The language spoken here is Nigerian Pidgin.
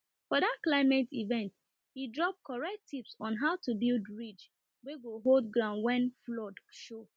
for that climate event he drop correct tips on how to build ridge wey go hold ground when flood show